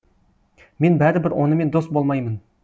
мен бәрібір онымен дос болмаймын